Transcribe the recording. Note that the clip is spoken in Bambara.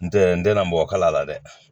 N tɛ n tɛ na mɔgɔ kalan la dɛ